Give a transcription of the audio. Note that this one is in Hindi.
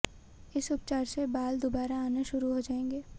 इस उपचार से बाल दुबारा आना शुरु हो जाएंगे